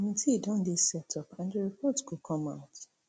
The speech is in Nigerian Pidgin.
committee don dey setup and di report go come out